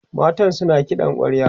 matan suna kiɗan kwarya